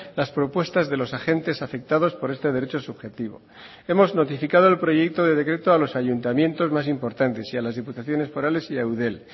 las propuestas de los agentes afectados por este derecho subjetivo hemos notificado el proyecto de decreto a los ayuntamientos más importantes y a las diputaciones forales y a eudel